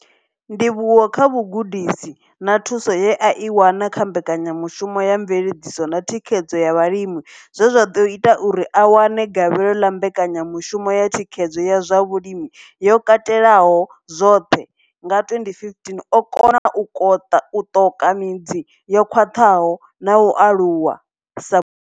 Ndivhuwo kha vhugudisi na thuso ye a i wana kha Mbekanya mushumo ya Mveledziso na Thikhedzo ya Vhalimi zwe zwa ḓo ita uri a wane gavhelo ḽa Mbekanyamushumo ya Thikhedzo ya zwa Vhulimi yo Katelaho zwoṱhe, CASP, nga 2015, o kona u ṱoka midzi yo khwaṱhaho na u aluwa sa.